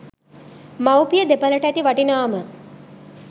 මව්පිය දෙපළට ඇති වටිනාම